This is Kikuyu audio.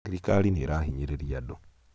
thirikari nĩ ĩrahinyĩrĩrĩa andũ